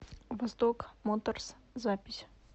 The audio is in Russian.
восток моторс запись